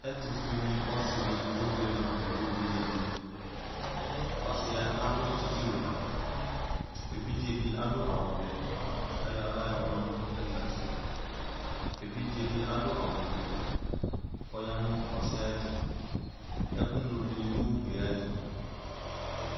ɛtʋfʋeni ɔsidi ebuele nu NA evidze dinii ɔsiɛ adu tsitsiwɛ evidzedi adu awuvɛ kayʋ aɣla yɔma nu ɛglati ɛvidzedi adu awufue koɔya nʋ ɔsiɛ ayuɛtʋ ɛkʋ NA dini ugliayɛtʋ